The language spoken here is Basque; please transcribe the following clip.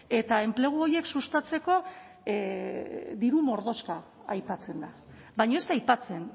eta enplegu horiek sustatzeko diru mordoxka aipatzen da baina ez da aipatzen